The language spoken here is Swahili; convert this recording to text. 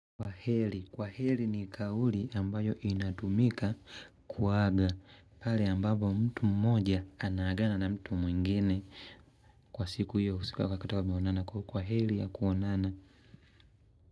Kwa heri. Kwa heri ni kauli ambayo inatumika kuaga. Pale ambapo mtu mmoja anaagana na mtu mwingine. Kwa siku hiyo usiko ukiwa kutoka mmeonana kwa heri ya kuonana.